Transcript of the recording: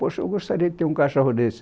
Poxa, eu gostaria de ter um cachorro desse.